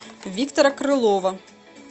виктора крылова